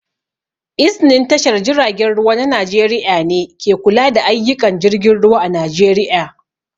Iznin tashar jiragen ruwa na Najeriƴa ne ke kula da ayyuƙan jirgin ruwa a Najeriƴa